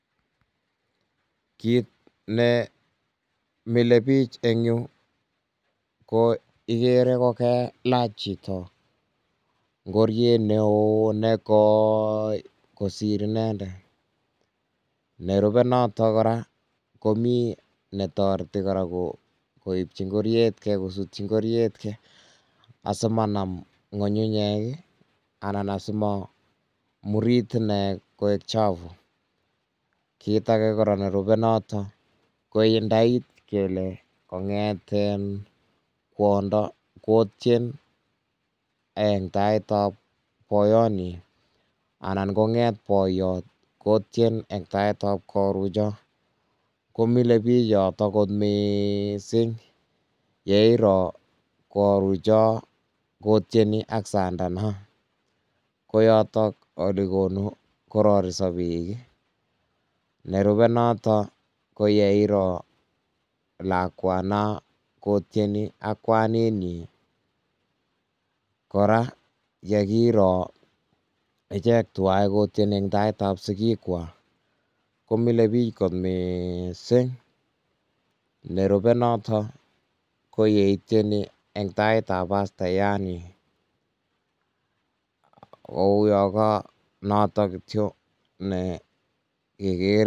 Kiit ne mileiy biich en yu, ko igere kokelach chito ngoriet neoo ne kooi kosir inendet. Nerube notok kora, komii ne toreti kora koipchi ngoryetkeiy, kosutchi ng'oryetkeiy asimanam ng'uny'unyek, anan asimamurit ineiy koek chafu. Kiit age kora nerube notok, ko indait kole kong'et kwondo kotien en taitab boiyot nyi, anan kong'et boiyot kotien en taitab korucho. Komileiy biich yotok kot mising, yeiro korucho kotieni ak sandana, ko yotok ole konu korariso biik. Nerube notok ko yeiro lakwana kotieni ak kwanet nyii. Kora, yekiro ichek tuwai kotieni eng' taitab sigik kwaak. Komileiy biich kot miising. Nerube notok, ko yeitieni eng' taitab pastayat nyii. um Kouyaa ka notok kityoo, ne keger.